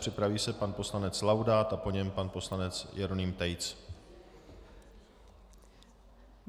Připraví se pan poslanec Laudát a po něm pan poslanec Jeroným Tejc.